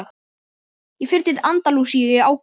Ég fer til Andalúsíu í ágúst.